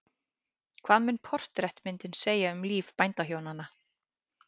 Hvað mun portrettmyndin segja um líf bændahjónanna?